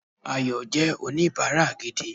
Ayò jé oníbáárà gidi